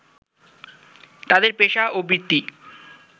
তাদের পেশা বা বৃত্তি